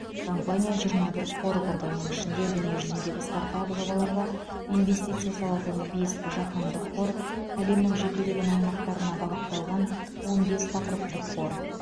компания жиырма бір қор құрды оның ішінде дүниежүзіндегі стартап жобаларға инвестиция салатын бес жаһандық қор әлемнің жекелеген аймақтарына бағытталған он бес тақырыптық қор